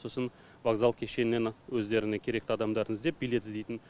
сосын вокзал кешенінен өздеріне керекті адамдарын іздеп билет іздейтін